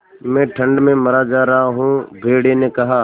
मैं ठंड में मरा जा रहा हूँ भेड़िये ने कहा